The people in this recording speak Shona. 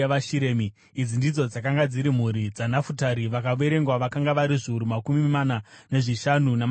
Idzi ndidzo dzakanga dziri mhuri dzaNafutari; vakaverengwa vakanga vari zviuru makumi mana nezvishanu, namazana mana.